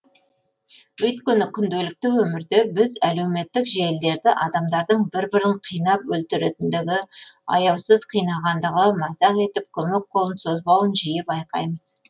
өйткені күнделікті өмірде біз әлеуметтік желілерді адамдардың бір бірін қинап өлтіретіндігі аяусыз қинағандығы мазақ етіп көмек қолын созбауын жиі байқаймыз